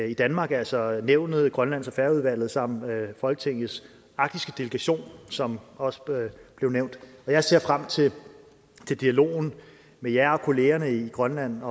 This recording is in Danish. i danmark altså nævnet grønlands og færøudvalget samt folketingets arktiske delegation som også blev nævnt og jeg ser frem til dialogen med jer og kollegerne i grønland